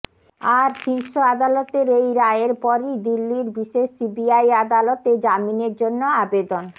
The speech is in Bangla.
আর শীর্ষ আদালতের এই রায়ের পরই দিল্লির বিশেষ সিবিআই আদালতে জামিনের জন্য আবেদন